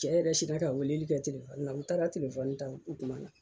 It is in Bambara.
Cɛ yɛrɛ sina ka weleli kɛ n taara ta